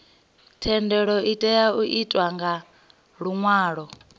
thendelo itea u itwa nga luṅwalo